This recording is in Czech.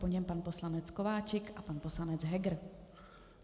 Po něm pan poslanec Kováčik a pan poslanec Heger.